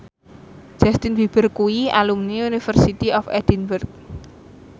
Justin Beiber kuwi alumni University of Edinburgh